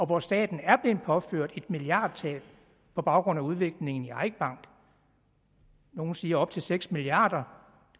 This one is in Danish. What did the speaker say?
hvor staten er blevet påført et milliardtab på baggrund af udviklingen i eik bank nogle siger op til seks milliard